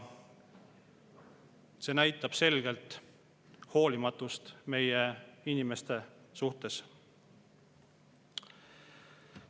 See näitab selgelt hoolimatust meie inimeste suhtes.